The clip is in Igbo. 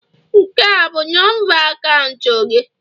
Nke a bụ nọmba akaụntụ gị?